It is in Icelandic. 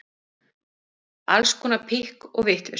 Alls konar pikk og vitleysu.